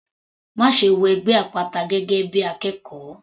Máṣe wọ ẹgbẹ́ àpáta gẹ́gẹ́ bí akẹ́kọ̀ọ́!.